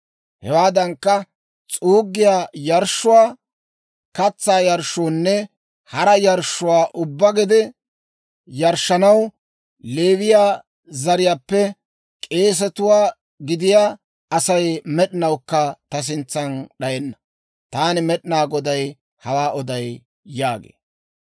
Hewaadankka, s'uuggiyaa yarshshuwaa, katsaa yarshshoonne hara yarshshuwaa ubbaa gede yarshshanaw Leewiyaa zariyaappe k'eesiyaa gidiyaa Asay med'inawukka ta sintsan d'ayenna. Taani Med'inaa Goday hawaa oday» yaagee.